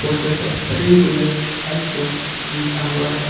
Poster पर free rural health camp लिखा हुआ है।